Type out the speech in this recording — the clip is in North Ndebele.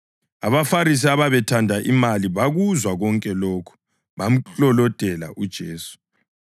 AbaFarisi ababethanda imali bakuzwa konke lokhu, bamklolodela uJesu.